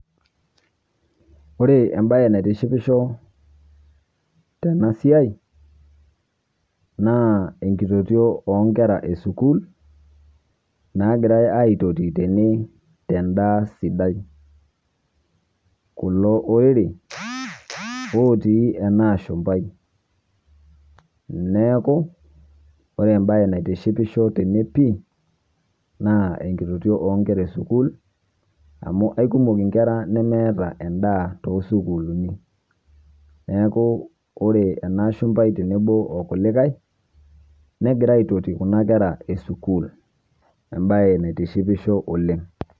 Ore ebaye naitishipisho tena siai naa enkitotio onkerra e sukuul naigirai entotii tene te ndaa sidai, kuloo oerii otii ena ashumbai. Neeku ore bayi naitishipisho tene pii naa enkitotio onkerra e sukuul amu ekumook nkerra nemeeta endaa to sukuulini. Neeku ore ana ashumbai teneboo okulikai negiraa aitotii kuna nkerra e sukuul ebaye neitishipisho oleng.